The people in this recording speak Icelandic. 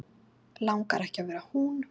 Langar ekki að vera hún.